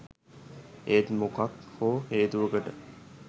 ඒත් මොකක් හෝ හේතුවකට